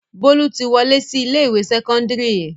Bólú ti wọlé sí ilé-ìwé sẹ́kọ́ndárì yẹn.